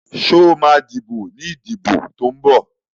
Sọ ma díbò ní ìdìbò tó ń bọ̀?